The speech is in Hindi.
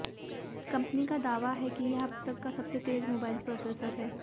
कंपनी का दावा है कि यह अब तक का सबसे तेज मोबाइल प्रोसेसर है